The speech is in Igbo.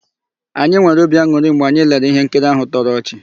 Anyị nwere obi an̄ụrị mgbe anyị lere íhénkiri áhụ̀ tọrọ ọchị.